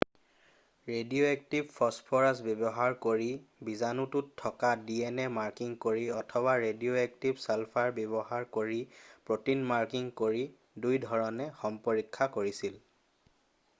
radioactive phosphorus ব্যৱহাৰ কৰি বীজাণুটোত থকা ডিএনএ মাৰ্কিং কৰি অথবা ৰেডিঅ'এক্টিভ ছালফাৰ ব্যৱহাৰ কৰি প্ৰটিন মাৰ্কিং কৰি দুইধৰণে সম্পৰীক্ষা কৰিছিল